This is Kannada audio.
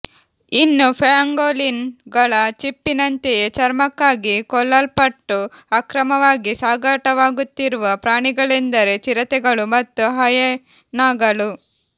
ಇನ್ನು ಪ್ಯಾಂಗೋಲಿನ್ ಗಳ ಚಿಪ್ಪಿನಂತೆಯೇ ಚರ್ಮಕ್ಕಾಗಿ ಕೊಲ್ಲಲ್ಪಟ್ಟು ಅಕ್ರಮವಾಗಿ ಸಾಗಾಟವಾಗುತ್ತಿರುವ ಪ್ರಾಣಿಗಳೆಂದರೆ ಚಿರತೆಗಳು ಮತ್ತು ಹಯೆನಾಗಳು